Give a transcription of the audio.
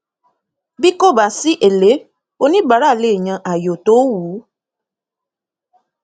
bí kò bá sí èlé oníbàárà le yan ayò tó wù ú